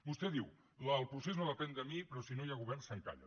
vostè diu el procés no depèn de mi però si no hi ha govern s’encalla